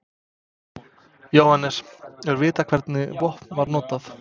Jóhannes: Er vitað hvernig vopn var notað?